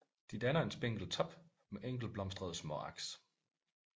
De danner en spinkel top med enkeltblomstrede småaks